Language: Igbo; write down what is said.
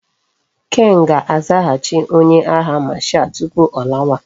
Ken ga azaghachi onye agha marshal tupu o lawa